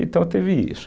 Então teve isso.